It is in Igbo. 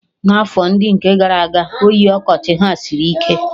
N'afọ ndị nke gara aga, oyi ọkọchị ha sịrị ike